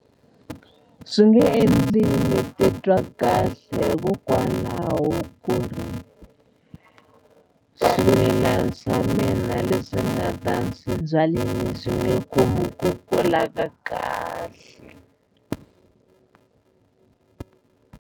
Swi nge endli ni titwa kahle hikokwalaho ku ri swimila swa mina leswi ni nga ta swi byalini swi nge khomi ku kula ka kahle.